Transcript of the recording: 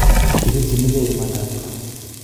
Kipirchinigei imandab kaa